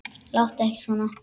Láttu ekki svona!